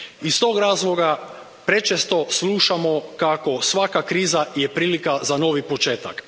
Iz tog razloga prečesto slušamo kako je svaka kriza prilika za novi poččetak.